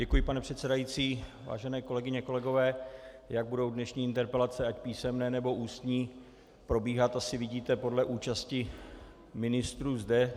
Děkuji, pane předsedající, vážené kolegyně, kolegové, jak budou dnešní interpelace, ať písemné, nebo ústní, probíhat, asi vidíte podle účasti ministrů zde.